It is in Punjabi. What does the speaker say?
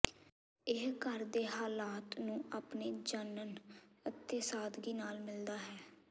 ਇਹ ਘਰ ਦੇ ਹਾਲਾਤ ਨੂੰ ਆਪਣੇ ਜਣਨ ਅਤੇ ਸਾਦਗੀ ਨਾਲ ਮਿਲਦਾ ਹੈ